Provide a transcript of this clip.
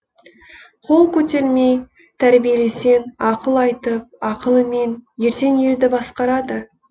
қол көтермей тәрбиелесең ақыл айтып ақылымен ертең елді басқарады